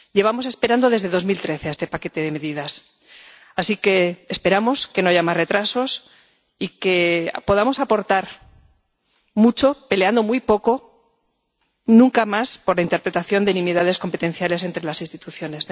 Llevamos esperando desde 2013 este paquete de medidas, así que esperamos que no haya más retrasos y que podamos aportar mucho, peleando muy poco y nunca más por la interpretación de nimiedades competenciales entre las instituciones.